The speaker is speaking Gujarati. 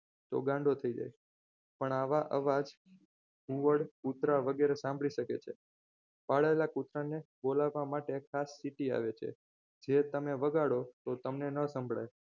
તો ગાંડો થઈ જાય પણ આવાજ ઘુવડ કૂતરા વગેરે સાંભળી શકે છે પાળેલા કૂતરાને બોલાવવા માટે ખાસ સ્થિતિ આવે છે જે તમે વગાડો તો તમને ન સંભળાય